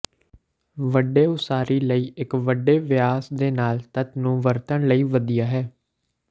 ਵੱਡੇ ਉਸਾਰੀ ਲਈ ਇੱਕ ਵੱਡੇ ਵਿਆਸ ਦੇ ਨਾਲ ਤੱਤ ਨੂੰ ਵਰਤਣ ਲਈ ਵਧੀਆ ਹੈ